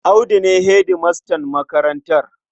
Audu ne hedimastan makarantar.